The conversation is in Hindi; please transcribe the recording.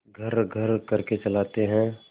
घर्रघर्र करके चलाते हैं